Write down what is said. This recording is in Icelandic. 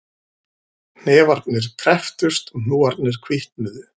Hnefarnir krepptust og hnúarnir hvítnuðu